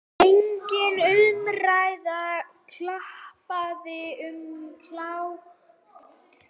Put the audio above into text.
Engin umræða, klappað og klárt.